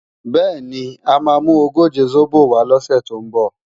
Bẹ́ẹ̀ni, mà á mú ogóje sóbò wá lọ́sè tó ń bọ̀